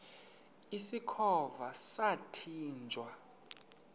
usikhova yathinjw a